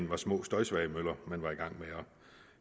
var små støjsvage møller man var i gang med at